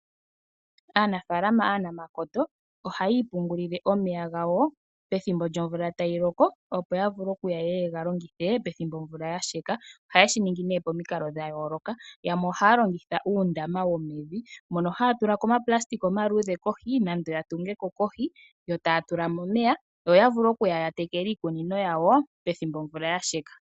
Aanafalama aanamakoto ohayi ipungulile omeya gawo pethimbo lyomvula tayi loko opo ya vule okuya yeye yega longithe ethimbo omvula ya sheka, ohayeshi ningi pomikalo dha yooloka yamwe ohaya longitha uundama womevi mono haya tula ko omapulasitika omaluudhe kohi nenge ya tunge ko kohi yo taya tula mo omeya opo ya vule okuya ya tekule iikunino yawo pethimbo omvula ya sheka.